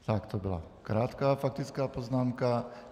Tak to byla krátká faktická poznámka.